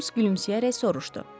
Holms gülümsəyərək soruşdu.